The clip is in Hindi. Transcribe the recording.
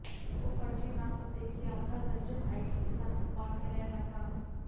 वो फर्जी नाम पते की आधा दर्जन आईडी के साथ भोपाल में रह रहा था